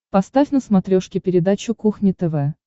поставь на смотрешке передачу кухня тв